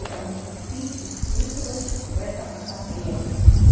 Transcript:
потому что ты испытываешь в этом потребность